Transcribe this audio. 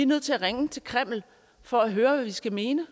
nødt til at ringe til kreml for at høre hvad vi skal mene